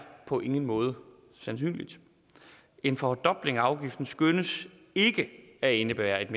på ingen måde sandsynligt en fordobling af afgiften skønnes ikke at indebære et